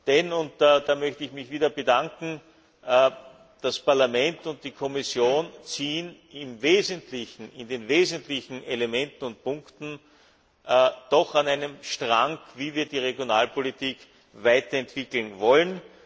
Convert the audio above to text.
Denn und da möchte ich mich wieder bedanken das Parlament und die Kommission ziehen in den wesentlichen Elementen und Punkten doch an einem Strang, wie wir die Regionalpolitik weiterentwickeln wollen.